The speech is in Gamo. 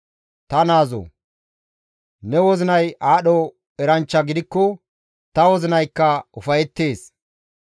Ta naazoo! Ne wozinay aadho eranchcha gidikko ta wozinaykka ufayettees.